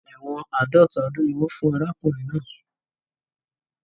Ẹ̀wọ́n àádọ́ta ọdún ni wọ́n fún arákùnrin náà.